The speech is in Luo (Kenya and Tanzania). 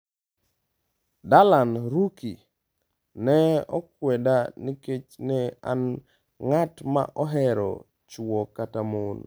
Darlan Ruki: Ne akweda nikech ne an ng'at ma ohero chwo kata mon